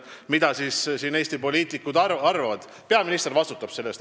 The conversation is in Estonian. Peaminister vastutab alati valitsuse tegevuse eest.